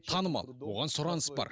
танымал оған сұраныс бар